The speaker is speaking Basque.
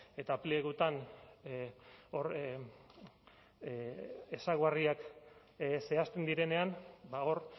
eta plegutan ezaugarriak zehazten direnean hor